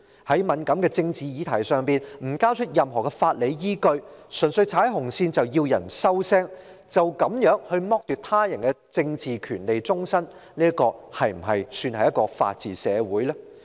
在敏感的政治議題上，當局不交出任何法理依據，純粹指有人踩"紅線"，便要別人"收聲"，便要終身剝奪他人的政治權利，這是否算是一個法治社會呢？